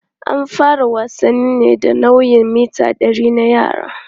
An fara wasannin ne da nau'in mita 100 na yara.